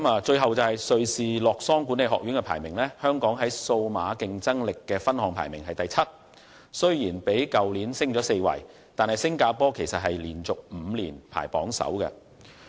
最後，根據瑞士洛桑管理學院公布的排名，香港在數碼競爭力的分項排名第七，雖然已較去年爬升4位，但新加坡卻已連續5年排名榜首。